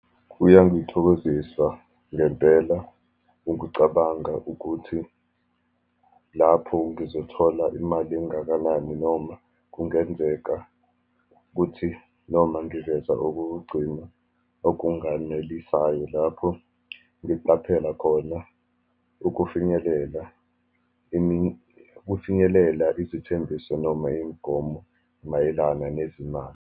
Kuyangithokozisa ngempela ukucabanga ukuthi lapho ngizothola imali engakanani, noma kungenzeka kuthi noma ngiveza okokugcina okunganelisayo lapho ngiqaphela khona ukufinyelela ukufinyelela izithembiso, noma imigomo mayelana nezimali.